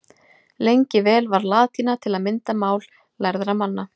Lengi vel var latína til að mynda mál lærðra manna.